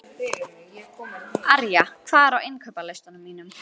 Arja, hvað er á innkaupalistanum mínum?